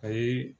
Ayi